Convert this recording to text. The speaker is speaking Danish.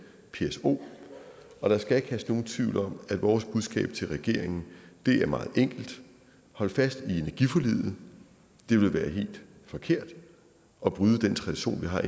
pso og der skal ikke herske nogen tvivl om at vores budskab til regeringen er meget enkelt hold fast i energiforliget det vil være helt forkert at bryde den tradition vi har